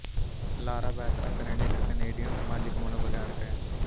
ਲਾਰਾ Beth Aknin ਇੱਕ Canadian ਸਮਾਜਿਕ ਮਨੋਵਿਗਿਆਨਕ ਹੈ